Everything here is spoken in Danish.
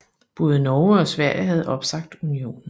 Både Norge og Sverige havde opsagt unionen